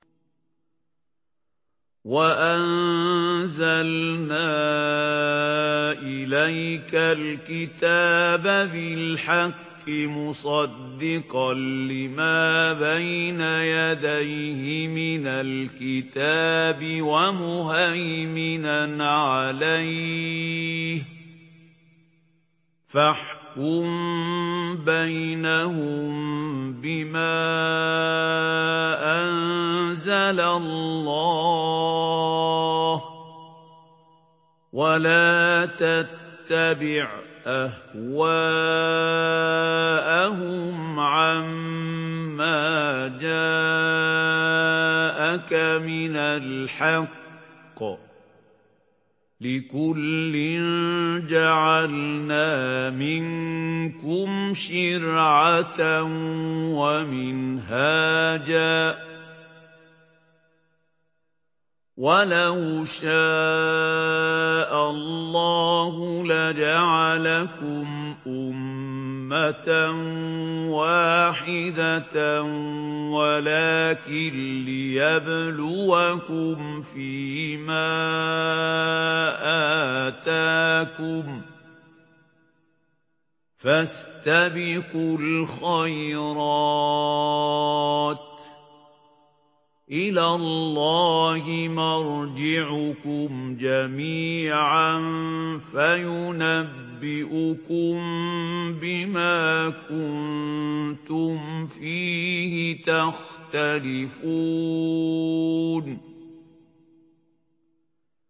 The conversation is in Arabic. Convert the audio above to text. وَأَنزَلْنَا إِلَيْكَ الْكِتَابَ بِالْحَقِّ مُصَدِّقًا لِّمَا بَيْنَ يَدَيْهِ مِنَ الْكِتَابِ وَمُهَيْمِنًا عَلَيْهِ ۖ فَاحْكُم بَيْنَهُم بِمَا أَنزَلَ اللَّهُ ۖ وَلَا تَتَّبِعْ أَهْوَاءَهُمْ عَمَّا جَاءَكَ مِنَ الْحَقِّ ۚ لِكُلٍّ جَعَلْنَا مِنكُمْ شِرْعَةً وَمِنْهَاجًا ۚ وَلَوْ شَاءَ اللَّهُ لَجَعَلَكُمْ أُمَّةً وَاحِدَةً وَلَٰكِن لِّيَبْلُوَكُمْ فِي مَا آتَاكُمْ ۖ فَاسْتَبِقُوا الْخَيْرَاتِ ۚ إِلَى اللَّهِ مَرْجِعُكُمْ جَمِيعًا فَيُنَبِّئُكُم بِمَا كُنتُمْ فِيهِ تَخْتَلِفُونَ